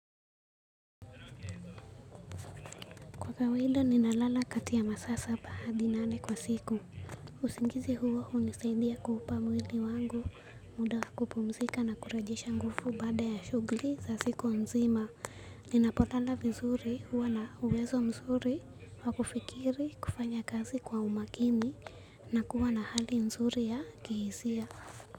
Kwa kawaida ninalala kati ya masaa saba hadi nane kwa siku. Usingizi huo hunisaidia kuupa mwili wangu mda kupumzika na kurejesha nguvu baada ya shughuli za siku mzima. Ninapolala vizuri huwa na uwezo mzuri wa kufikiri, kufanya kazi kwa makini na kuwa na hali nzuri kihisia.